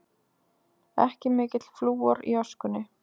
Ekki mikill flúor í öskunni